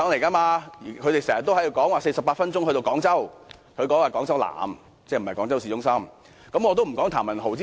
政府經常說48分鐘可以到達廣州南，但那處不是廣州市中心。